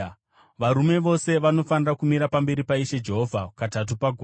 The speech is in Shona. “Varume vose vanofanira kumira pamberi paIshe Jehovha katatu pagore.